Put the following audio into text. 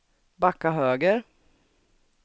backa höger